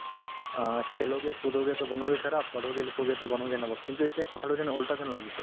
O, kheloge kudos to banoge kharaab padhoge likhoge to banoge navaab কিন্তু এতিয়া কথাতো যেন ওলোটা যেন লাগিছে